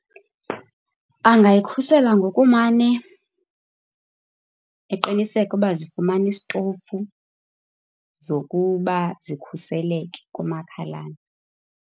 Angayikhusela ngokumane eqiniseka ukuba zifuna isitofu zokuba zikhuseleke kumakhalane.